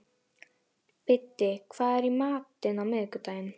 Biddi, hvað er í matinn á miðvikudaginn?